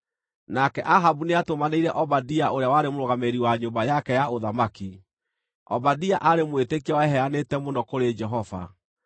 nake Ahabu nĩatũmanĩire Obadia ũrĩa warĩ mũrũgamĩrĩri wa nyũmba yake ya ũthamaki. (Obadia aarĩ mwĩtĩkia weheanĩte mũno kũrĩ Jehova.